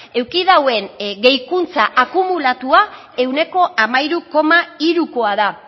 eduki duen gehikuntza akumulatua ehuneko hamairu koma hirukoa da